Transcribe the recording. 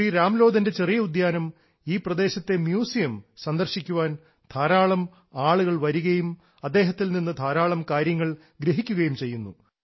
ശ്രീ രാംലോധൻറെ ചെറിയ ഉദ്യാനം ഈ പ്രദേശത്തെ മ്യൂസിയം സന്ദർശിക്കുവാൻ ധാരാളം ആളുകൾ വരികയും അദ്ദേഹത്തിൽ നിന്നും ധാരാളം കാര്യങ്ങൾ ഗ്രഹിക്കുകയും ചെയ്യുന്നു